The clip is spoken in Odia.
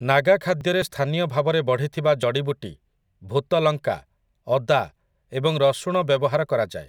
ନାଗା ଖାଦ୍ୟରେ ସ୍ଥାନୀୟ ଭାବରେ ବଢିଥିବା ଜଡି଼ବୁଟି, ଭୂତ ଲଙ୍କା, ଅଦା ଏବଂ ରସୁଣ ବ୍ୟବହାର କରାଯାଏ ।